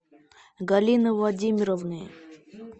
галины владимировны